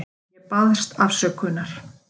Ég baðst afsökunar.